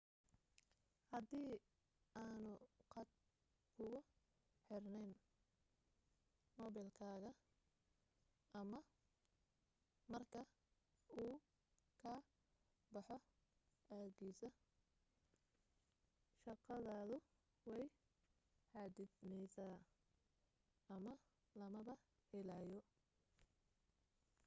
hadii aanu khad kuugu xirnayn moobilkaaga ama marka uu ka baxo aagiisa shaqadoodu way xaddidmaysaa ama lamaba helayo